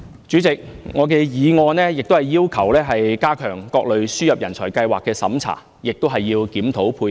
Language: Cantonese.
主席，我的議案亦要求加強各類輸入人才計劃的審查，並檢討配額。